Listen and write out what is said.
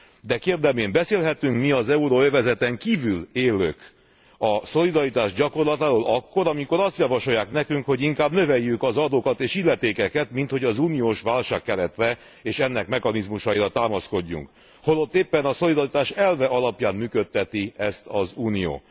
De kérdem én, beszélhetünk mi, az euróövezeten kívül élők a szolidaritás gyakorlatáról akkor, amikor azt javasolják nekünk, hogy inkább növeljük az adókat és illetékeket, minthogy az uniós válságkeretre és ennek mechanizmusaira támaszkodjunk, holott éppen a szolidaritás elve alapján működteti ezt az Unió?